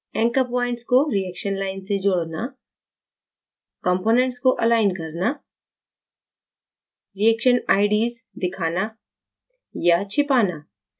anchor points को reaction line से जोड़ना components को अलाइन करना reaction ids दिखाना/छिपाना